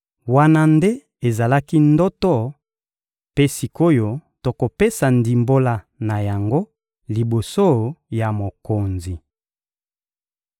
Wana nde ezalaki ndoto; mpe sik’oyo, tokopesa ndimbola na yango liboso ya mokonzi!